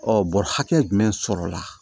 bɔrɛ hakɛ jumɛn sɔrɔla